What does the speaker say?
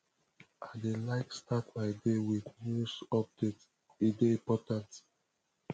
i dey like start my day with news updates e dey important